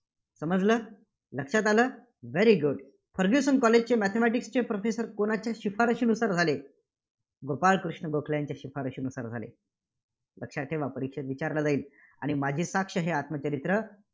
समजलं? लक्षात आलं? very good फर्ग्युसन कॉलेजचे mathematics चे professor कुणाच्या शिफारशीनुसार झाले? गोपाळकृष्ण गोखले यांच्या शिफारशीनुसार झाले. लक्षात ठेवा, परीक्षेत विचारला जाईल. आणि माझी साक्ष हे आत्मचरित्र